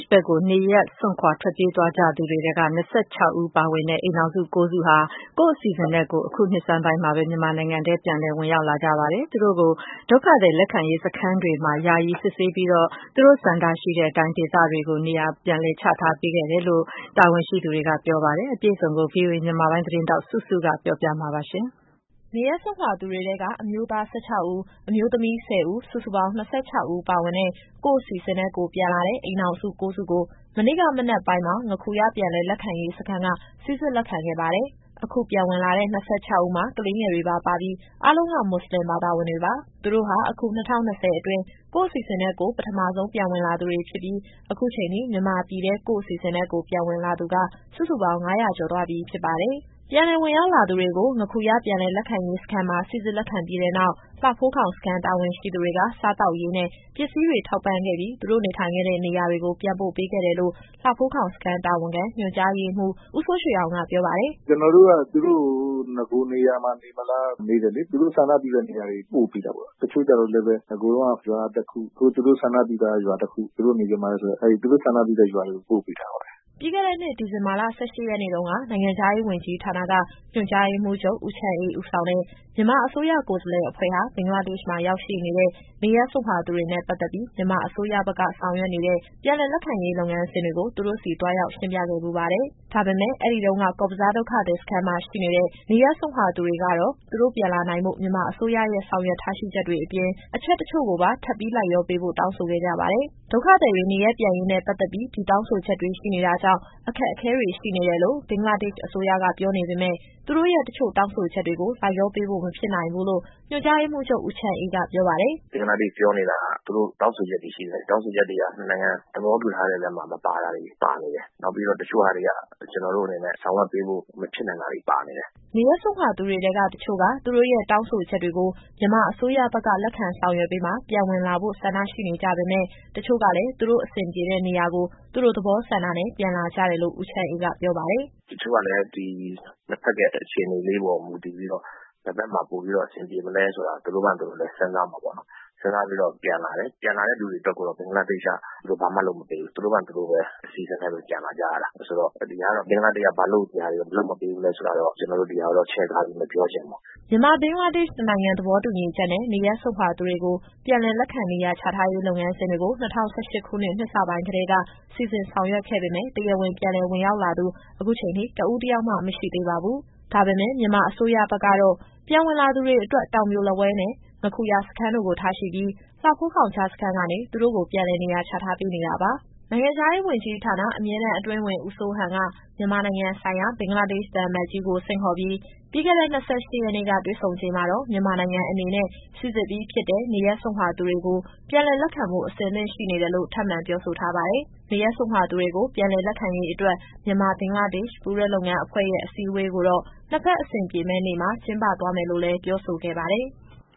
်ဘက်ကို နေရပ်စွန့်ခွာ ထွက်ပြေးသွားကြသူတွေထဲက ၂၆ဦးပါဝင်တဲ့ အိမ်ထောင်စု ၉စုဟာ ကိုယ့်အစီအစဉ်နဲ့ကိုယ် အခုနှစ်ဆန်းပိုင်းမှာပဲ မြန်မာနိုင်ငံထဲ ပြန်လည် ဝင်ရောက်လာကြပါတယ်။ သူတို့ကို ဒုက္ခသည်လက်ခံရေး စခန်းတွေမှာ ယာယီစစ်ဆေးပြီးတော့ သူတို့ဆန္ဒရှိတဲ့အတိုင်း ဒေသတွေကို ပြန်လည်နေရာချထားပေးခဲ့တယ်လို့ တာဝန်ရှိသူတွေက ပြောပါတယ်။ အပြည့်အစုံကို ဗွီအိုအေမြန်မာပိုင်း သတင်းထောက်စုစုက ပြောပြသွားမှာပါ။ နေရပ်စွန့်ခွာသူတွေထဲက အမျိုးသား ၁၆ဦး၊ အမျိုးသမီး ၁၀ဦး၊ စုစုပေါင်း ၂၆ဦးပါဝင်တဲ့ ကိုယ့်အစီအစဉ်နဲ့ကိုယ် ပြန်လာတဲ့ အိမ်ထောင်စု ၉စုကို မနေ့ကမနက်ပိုင်းမှာ ငါးခူရပြန်လည် လက်ခံရေးစခန်း က စိစစ် လက်ခံခဲ့ ပါတယ်။ အခုပြန်ဝင်လာသူ ၂၆ဦးမှာ ကလေးငယ်တွေပါ ပါပြီး အားလုံးက မွတ်စလင် တွေပါ။ သူတို့ဟာ အခု ၂၀၂၀ အတွင်း ကိုယ့်အစီအစဉ်နဲ့ကိုယ် ပထမဆုံးပြန်ဝင်လာသူတွေဖြစ်ပြီး အခုချိန်အထိ မြန်မာပြည်ထဲ ကိုယ့်အစီအစဉ်နဲ့ ပြန်လာသူက စုစုပေါင်း ၅၀၀ ကျော်သွားပြီ ဖြစ်ပါတယ်။ ပြန်လည်ဝင်ရောက်လာသူတွေကို ငါးခူရပြန်လည် လက်ခံရေးစခန်းမှာ စိစစ်လက်ခံပြီးတဲ့နောက် လှဖိုးခေါင် စခန်း တာဝန်ရှိသူတွေက စားသောက်ရေး နဲ့ ပစ္စည်းတွေ ထောက်ပံ့ခဲ့ပြီး သူူတို့နေထိုင်ခဲ့တဲ့ နေရာတွေကို ပြန်ပို့ပေးခဲ့တယ်လို့ လှဖိုးခေါင်စခန်း တာဝန်ခံ ညွှန်ကြားရေးမှူး ဦးစိုးရွှေအောင်က ပြောပါတယ်။ “ကျတော်တို့က သူတို့ကို နဂိုနေရာမှာ နေမလား မေးတယ်လေ။ သူတို့ဆန္ဒပြုတဲ့ နေရာတွေ ပို့ပေးတာပေါ့။ တချို့ကျတော့လည်းပဲ နဂိုတုန်းက ရွာတခု၊ အခုသူတို့ဆန္ဒပြုတဲ့ ရွာကတခု သူတို့နေချင် ပါတယ်ဆိုတဲ့ အဲဒီ သူတို့ဆန္ဒပြုတဲ့ရွာတွေကို ပို့ပေးထားပါတယ်။” ပြီးခဲ့တဲ့နှစ် ဒီဇင်ဘာလ ၁၈ရက်နေ့တုန်းက နိုင်ငံခြားရေးဝန်ကြီးဌာနက ညွှန်ကြားရေးမှူးချုပ် ဦးချမ်းအေး ဦးဆောင်တဲ့ မြန်မာအစိုးရ ကိုယ်စားလှယ်အဖွဲ့ဟာ ဘင်္ဂလားဒေ့ရှ်မှာရောက်ရှိနေတဲ့ နေရပ်စွန့်ခွာသူတွေနဲ့ ပတ်သက်ပြီး မြန်မာအစိုးရဘက်က ဆောင်ရွက်နေတဲ့ ပြန်လည်လက်ခံရေး လုပ်ငန်းစဉ်တွေကို သူတို့ဆီ သွားရောက် ရှင်းပြခဲ့ဖူးပါတယ်။ ဒါပေမယ့် အဲဒီတုန်းက ကော့ဘဇားဒုက္ခသည်စခန်းမှာ ရှိတဲ့နေရပ်စွန့်ခွာ သူတွေကတော့ သူတို့ပြန်လာနိုင်ဖို့ မြန်မာအစိုးရရဲ့ ဆောင်ရွက်ထားချက်တွေ အပြင် အချက်တချို့ကိုပါ ထပ်ပြီးလိုက်လျောပေးဖို့ တောင်းဆို ခဲ့ကြပါတယ်။ ဒုက္ခသည်တွေ နေရပ်ပြန်ရေးနဲ့ ပတ်သက်ပြီး ဒီတောင်းဆိုချက်တွေ ရှိနေတာ ကြောင့် အခက်အခဲတွေ ရှိနေတယ်လို့ ဘင်္ဂလားဒေ့ရှ် အစိုးရက ပြောနေပေမယ့် သူတို့ရဲ့ တချို့တောင်းဆိုချက်တွေကို လိုက်လျောပေးဖို့မဖြစ်နိုင် ဘူးလို့ ညွှန်ကြားရေး မှူးချုပ် ဦးချမ်းအေး က ပြောပါတယ်။ “ဘင်္ဂလားဒေ့ရှ်ပြောနေတာက သူတို့တောင်းဆိုချက်တွေ ရှိတယ်။ အဲဒီတောင်းဆိုချက်တွေက နှစ်နိုင်ငံ သဘောတူထားတဲ့ အထဲမှာမပါတာတွေ ပါနေတယ်။ နောက်ပြီးတော့ တချို့ဟာတွေက ကျတော်တို့အနေနဲ့ ဆောင်ရွက်ပေးဖို့ မဖြစ်နိုင်တာတွေ ပါနေတယ်။” နေရပ်စွန့်ခွာသူတွေထဲက တချို့က သူတို့ရဲ့တောင်းဆိုချက်တွေကို မြန်မာအစိုးရဘက်က လက်ခံ ဆောင်ရွက်ပေးမှ ပြန်ဝင်လာဖို့ ဆန္ဒရှိနေကြပေမယ့် တချို့ကလည်း သူတို့အဆင်ပြေတဲ့နေရာကို သူတို့သဘောဆန္ဒနဲ့ ပြန်လာကြတယ်လို့ ဦးချမ်းအေးကပြောပါတယ်။ “တချို့ကလည်း ဒီနှစ်ဖက်ရဲ့ အခြေအနေလေးပေါ် မူတည်ပြီးတော့ ဘယ်ဘက်မှာပိုပြီးတော့ အဆင်ပြေမလဲဆိုတာ သူတို့ဘာသူတို့လည်း စဉ်းစားမှာပေါ့နော်။ စဉ်းစားပြီးတော့ ပြန်လာတယ်။ ပြန်လာတဲ့သူတွေဘက်ကိုတော့ ဘင်္ဂလားဒေ့ရှ်က သူတို့ဘာမှလုပ်မပေးဘူး။ သူတို့ဘာသူတို့ပဲ အစီအစဉ်နဲ့ပဲ ပြန်လာကြရတာ။ ဆိုတော့ ဒီဟာကတော့ ဘင်္ဂလားဒေ့ရှ်က ဘာလို့ဒီဟာတွေကို လုပ်မပေးဘူးလည်းဆိုတာတော့ ကျတော်တို့ ဒီဟာကိုတော့ ချဲ့ကားပြီးမပြောချင်ဘူးပေါ့။” ဒါပေမယ့် မြန်မာအစိုးရဘက်ကတော့ ပြန်ဝင်လာသူတွေအတွက် တောင်ပြိုလက်ဝဲနဲ့ ငါးခူရစခန်းတို့ကို ထားရှိပြီး လှဖိုးခေါင်ကြားစခန်းကနေ သူတို့ကိုပြန်လည်နေရာချထားပေးနေတာပါ။ နိုင်ငံခြားရေးဝန်ကြီးဌာန၊ အမြဲတမ်းအတွင်းဝန် ဦးစိုးဟန်က မြန်မာနိုင်ငံဆိုင်ရာ ဘင်္ဂလားဒေ့ရှ်သံအမတ်ကြီးကို ဆင့်ခေါ်ပြီး ပြီးခဲ့တဲ့ ၂၈ရက်နေ့က တွေ့ဆုံချိန်မှာတော့ မြန်မာနိုင်ငံအနေနဲ့ စိစစ်ပြီးဖြစ်တဲ့ နေရပ်စွန့်ခွာသူတွေကို ပြန်လည် လက်ခံဖို့ အဆင်သင့်ရှိနေတယ်လို့ ထပ်မံပြောဆို ထားပါတယ်။ နေရပ်စွန့်ခွာသူတွေကို ပြန်လည်လက်ခံရေး အတွက် မြန်မာ-ဘင်္ဂလားဒေ့ရှ် ပူးတွဲလုပ်ငန်းအဖွဲ့ရဲ့ အစည်းအဝေးကိုတော့ နှစ်ဖက်အဆင်ပြေမယ့်နေ့မှာ ကျင်းပသွားမယ်လို့လည်း ပြောဆိုခဲ့ပါတယ်။